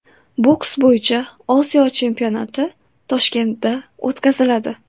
Boks bo‘yicha Osiyo chempionati Toshkentda o‘tkaziladi.